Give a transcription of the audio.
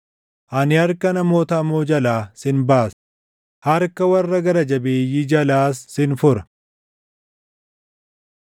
“Ani harka namoota hamoo jalaa sin baasa; harka warra gara jabeeyyii jalaas sin fura.”